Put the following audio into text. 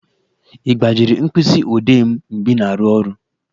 Ị gbajiri mkpịsị odee m mgbe ị na-aru ọrụ